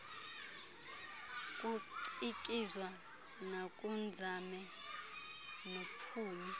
kucikizwa nakunzame nophumi